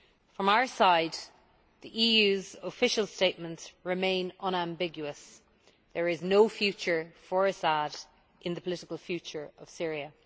From our side, the EU's official statements remain unambiguous there is no future for Assad in the political future of Syria.